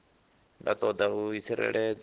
nda ṱoḓa u i tsireledza